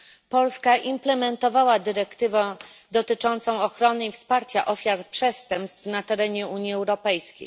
Polska implementowała dyrektywę dotyczącą ochrony i wsparcia ofiar przestępstw na terenie Unii Europejskiej.